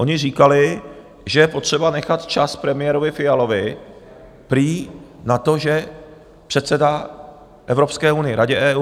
Oni říkali, že je potřeba nechat čas premiérovi Fialovi, prý na to, že předsedá Evropské unii, Radě EU.